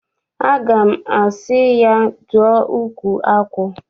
Aga m asị ya, dụọ ukwu akwụ!